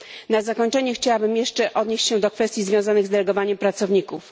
Na zakończenie chciałbym jeszcze odnieść się do kwestii związanych z delegowaniem pracowników.